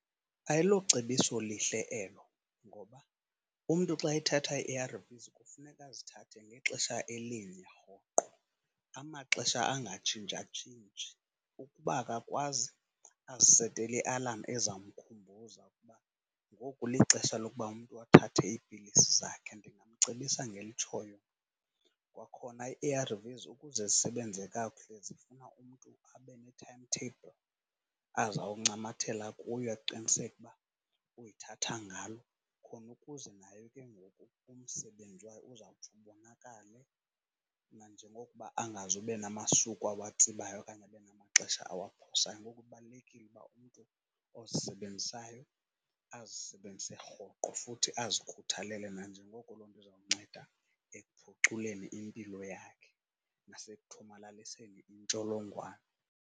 Ayilocebiso lihle elo ngoba umntu xa ethatha ii-A_R_Vs kufuneka azithathe ngexesha elinye rhoqo amaxesha angatshintsha tshintshi. Ukuba akakwazi azisetele ialamu ezawumkhumbuza ukuba ngoku lixesha lokuba umntu athathe ipilisi zakhe, ndingamcebisa ngelitshoyo mna. Kwakhona ii-A_R_Vs ukuze zisebenze kakuhle zifuna umntu abe ne-timetable azoncamathela kuyo aqiniseke uba uyithatha ngalo. Khona ukuze nayo ke ngoku umsebenzi wayo uzawutsho ubonakale nanjengokuba angazuba namasuku awatsibayo okanye abe namaxesha awaphosayo. Nangoku kubalulekile uba umntu ozisebenzisayo azisebenzise rhoqo futhi azikhuthalele nanjengoko loo nto izomnceda ekuphuculeni impilo yakhe nasekuthomalaliseni intsholongwane.